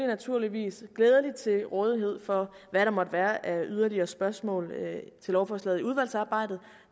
naturligvis med glæde til rådighed for hvad der måtte være af yderligere spørgsmål til lovforslaget under udvalgsarbejdet